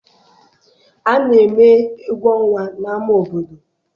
A na-eme egwu ọnwa n'ama obodo.